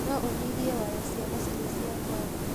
No ũnyihie waya cia macini cia kwaria